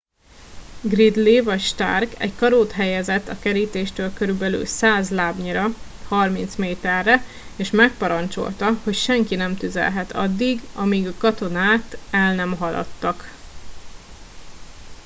gridley vagy stark egy karót helyezett a kerítéstől körülbelül 100 lábnyira 30 méterre és megparancsolta hogy senki sem tüzelhet addig amíg a katonát el nem haladtak